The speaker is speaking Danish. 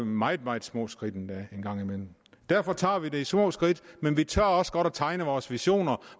meget meget små skridt en gang imellem derfor tager vi det med små skridt men vi tør også godt at tegne vores visioner